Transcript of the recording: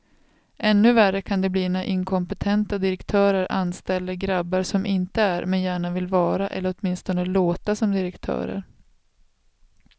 Ännu värre kan det bli när inkompetenta direktörer anställer grabbar som inte är, men gärna vill vara eller åtminstone låta som direktörer.